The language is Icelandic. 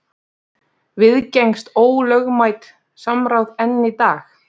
Viðgengst ólögmætt samráð enn í dag?